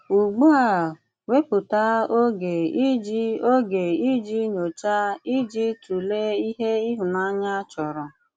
Ugbù a, wépụ̀tà ògè ìjì ògè ìjì nyòcháà i ji tụ̀lè ìhè ìhụ̀nànyà chọ̀rọ̀.